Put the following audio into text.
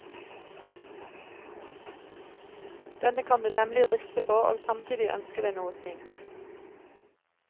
Denne kan du nemlig riste på og samtidig ønske deg noe fint.